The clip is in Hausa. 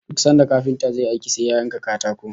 Duk sanda kafinta zai yi aiki sai ya yanka katako